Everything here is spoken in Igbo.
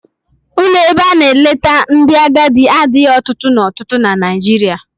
Ụlọ ebe a na-eleta ndị agadi adịghị ọtụtụ n'ọtụtụ na Nigeria.